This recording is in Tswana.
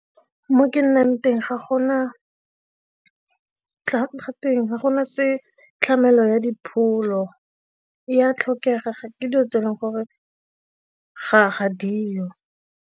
Mo ke nnang teng ga gona tlamelo ya dipholo ya tlhokega ke dilo tse e leng gore ga diyo.